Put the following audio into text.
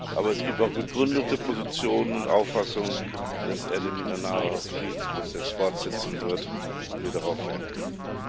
Aber es gibt auch begründete Positionen und Auffassungen, dass er den Mindanao Friedensprozess fortsetzen wird und wir darauf Wert legen.